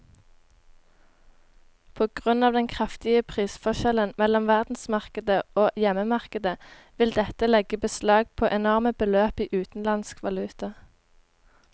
På grunn av den kraftige prisforskjellen mellom verdensmarkedet og hjemmemarkedet vil dette legge beslag på enorme beløp i utenlandsk valuta.